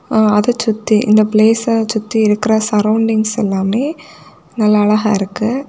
அது சுத்தி இந்த பிளேச சுத்தி இருக்கிற சரவுண்டிங்ஸ் எல்லாமே நல்ல அழகா இருக்கு.